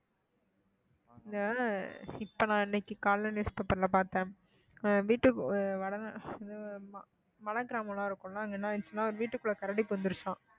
ஆஹ் இப்ப நான் இன்னைக்கு காலையில newspaper ல பார்த்தேன் ஆஹ் வீட்டுக்கு மலை கிராமம் எல்லாம் இருக்கும்ல அங்க என்ன ஆயிருச்சுன்னாஒரு வீட்டுக்குள்ள கரடி புகுந்திருச்சாம்